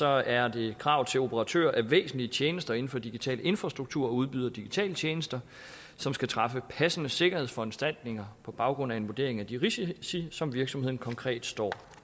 er det krav til operatører af væsentlige tjenester inden for digital infrastruktur og udbydere af digitale tjenester som skal træffe passende sikkerhedsforanstaltninger på baggrund af en vurdering af de risici som virksomhederne konkret står